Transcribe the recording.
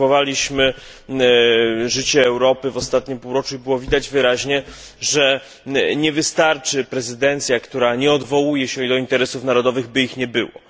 Obserwowaliśmy życie Europy w ostatnim półroczu i było widać wyraźnie, że nie wystarczy prezydencja, która nie odwołuje się do interesów narodowych, by ich nie było.